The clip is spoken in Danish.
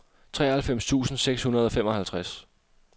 treoghalvfems tusind seks hundrede og femoghalvtreds